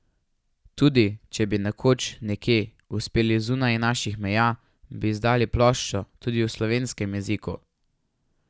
Tudi, če bi nekoč, nekje, uspeli zunaj naših meja, bi izdali ploščo tudi v slovenskem jeziku.